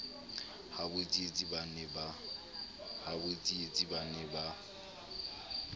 habo tsietsi ba ne ba